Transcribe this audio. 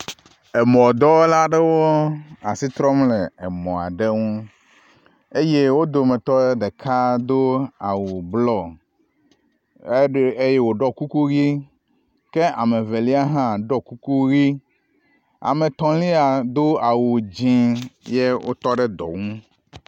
Emɔdɔwɔla aɖewo si trɔm le emɔ aɖe ŋu eye wo dometɔ ɖeka do awu blɔ edoe eye woɖɔ kuku ʋi kea me Evelia hã ɖɔ kuku ʋi. Ame etɔ̃lia do awu dzi ye wotɔ ɖe dɔ ŋu.